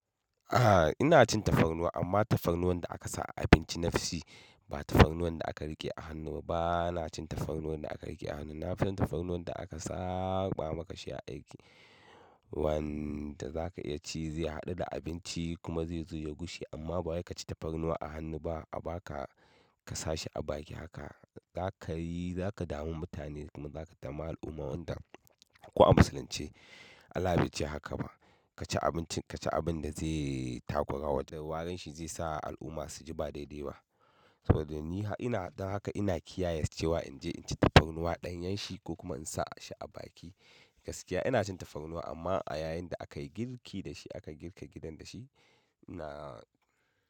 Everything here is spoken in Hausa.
A'a ina cin tafarnuwa amma tafarnuwan da aka sa a abinci nafi ci ba tafarnuwan da aka riƙe a hannu ba. Ina cin tafarnuwan da aka riƙe a hannu. Na fi tafarnuwan da aka saɓa maka shi a aiki wanda za ka iya ci zai haɗu da abinci kuma zai zo ya gushe amma ba wai ka ci tafarnuwa a hannu ba a ba ka ka sa shi a baki haka za ka yi za ka damu mutane kuma za ka dami al'umma wanda kuma ko a Musulunce Allah bai ce haka ba. Ka ci abinci ka ci abin da zai takura warin shi zai sa al'umma su ji ba daidai ba. Saboda ni ina don haka ina kiyaye cewa in je in ci tafarnuwa ɗanyan shi ko kuma in sa shi a baki. Gaskiya ina cin tafarnuwa amma a yayin da aka yi girki da shi aka girka gidan da shi ina.